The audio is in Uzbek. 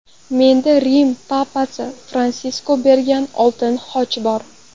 Menda Rim Papasi Fransisk bergan oltin xoch bor.